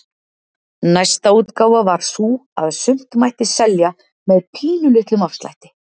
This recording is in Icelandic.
Næsta útgáfa var sú að sumt mætti selja með pínulitlum afslætti.